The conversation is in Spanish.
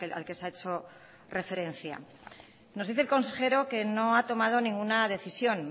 al que se ha hecho referencia nos dice el consejero que no ha tomado ninguna decisión